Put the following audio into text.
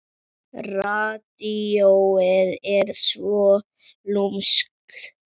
Radíóið er svo lúmskt.